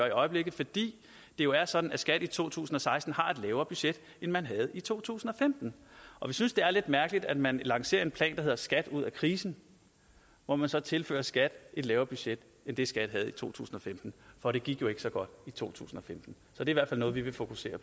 i øjeblikket fordi det jo er sådan at skat i to tusind og seksten har et lavere budget end man havde i to tusind og femten og vi synes det er lidt mærkeligt at man lancerer en plan der hedder skat ud af krisen hvor man så tilfører skat et lavere budget end det skat havde i to tusind og femten for det gik jo ikke så godt i to tusind og femten så det er noget vi vil fokusere